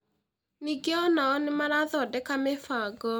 Ningĩ ona o nĩ marathondeka mĩbango